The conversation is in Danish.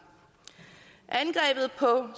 angrebet på